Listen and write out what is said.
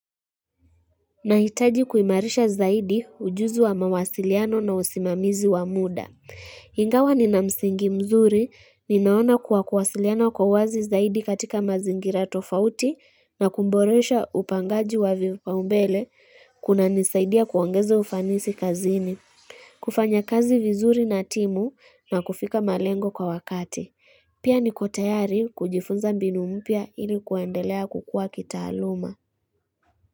Nahitaji kuimarisha zaidi ujuzi wa mawasiliano na usimamizi wa muda Ingawa ni na msingi mzuri ninaona kuwa kuwasiliana kwa wazi zaidi katika mazingira tofauti na kuboresha upangaji wa vipaumbele kunanisaidia kuongeza ufanisi kazini kufanya kazi vizuri na timu na kufika malengo kwa wakati Pia nikotayari kujifunza mbinu mpya ili kuendelea kukua kitaaluma.